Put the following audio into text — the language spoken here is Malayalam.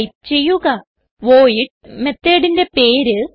ടൈപ്പ് ചെയ്യുക വോയിഡ് methodന്റെ പേര്